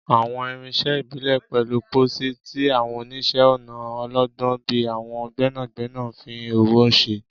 Àwọn irinṣẹ́ ìbílẹ̀ pẹ̀lú pósí, tí àwọn oníṣẹ́-ọnà ọlọ́gbọ́n bíi àwọn gbẹ́nàgbẹ́nà ń fi ọwọ́ ṣe.